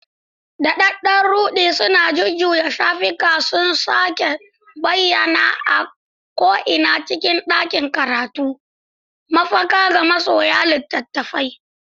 Daɗaɗɗen ruɗi na jujjuya shafuka sun sake bayyana a ko'ina cikin ɗakin karatu, mafaka ga masoya littattafai.